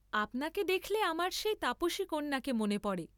আপনাকে দেখলে আমার সেই তাপসীকন্যাকে মনে পড়ে।